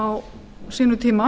á sínum tíma